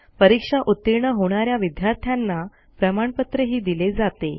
परीक्षा उतीर्ण होणा या विद्यार्थ्यांना प्रमाणपत्रही दिले जाते